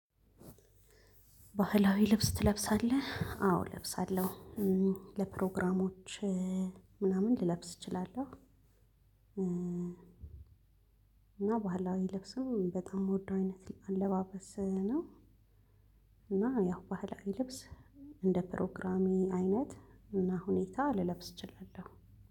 ባህላዊ ልብስ ትለብሳለህ አዎ እለብሳለሁ ለፕሮግራሞች ምናምን ልለብስ እችላለሁ። እና ባልላዊ ልብስም በጣም የምወደው አይነት አለባበስ ነው። እና ያው ባህላዊ ልብስ እንደ ፕሮግራሜ አይነት እና ሁኔታ ልለብስ ችላለሁ።